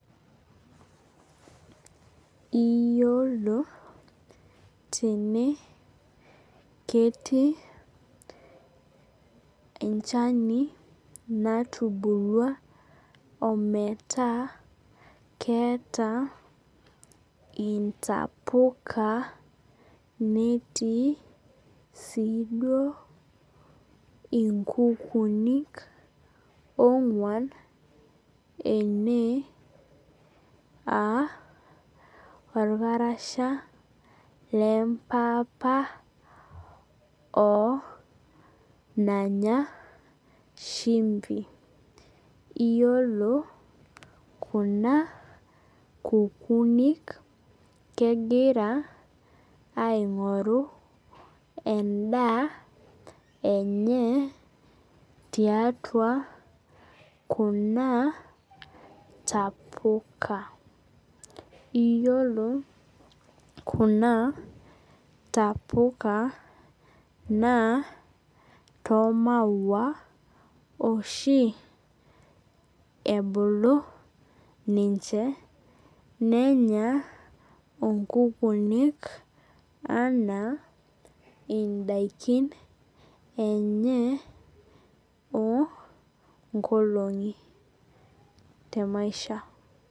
Iyolo tene ketii enchani natubulua ometaa ketaa ntapuka netii siduo inkukunik onguan ene aa orkarasha lempapa oo nanya shimbi iyolo kuna kukunik kegira aingoru endaa enye tiatua kuna tapuka iyolo kuna tapuka naa tormaua oshi ebulu ninche nenya nkukunik aanaa indakin enye onkolongi te maisha.